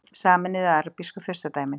Sameinuðu arabísku furstadæmin